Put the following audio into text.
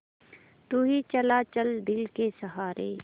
यूँ ही चला चल दिल के सहारे